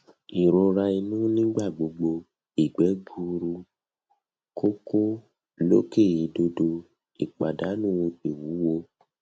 irora inu nigbagbogbo igbe gbuuru koko loke idodo ipadanu iwuwo